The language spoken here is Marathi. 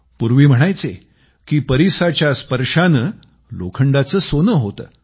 पूर्वी म्हणायचे की परीसाच्या स्पर्शानं लोखंडाचं सोनं बनतं